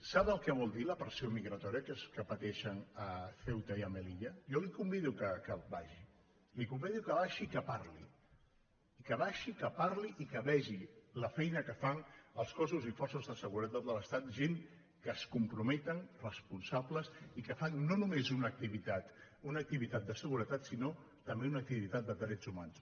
sap el que vol dir la pressió migratòria que pateixen a ceuta i a melilla jo la convido que hi vagi la convi·do que hi baixi i que hi parli que hi baixi que hi parli i que vegi la feina que fan els cossos i forces de se·guretat de l’estat gent que es comprometen respon·sables i que fan no només una activitat de seguretat sinó també una activitat de drets humans